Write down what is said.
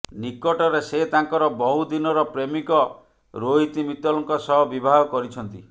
ନିକଟରେ ସେ ତାଙ୍କର ବହୁ ଦିନର ପ୍ରେମିକ ରୋହିତ ମିତଲଙ୍କ ସହ ବିବାହ କରିଛନ୍ତି